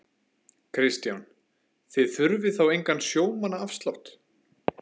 Kristján: Þið þurfið þá engan sjómannaafslátt?